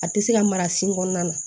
A tɛ se ka mara sin kɔnɔna na